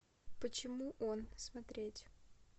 почему он смотреть